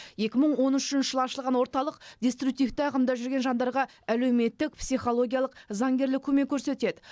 екі мың он үшінші жылы ашылған орталық деструктивті ағымда жүрген жандарға әлеуметтік психологиялық заңгерлік көмек көрсетеді